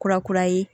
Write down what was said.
Kura kura ye